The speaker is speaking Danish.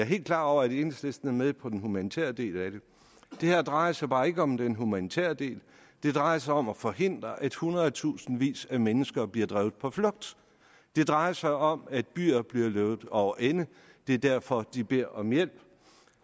helt klar over at enhedslisten er med på den humanitære del af det det her drejer sig bare ikke om den humanitære del det drejer sig om at forhindre at hundredtusindvis af mennesker bliver drevet på flugt det drejer sig om at byer bliver løbet over ende det er derfor de beder om hjælp